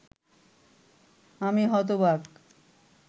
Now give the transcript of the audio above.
আমি হতবাক!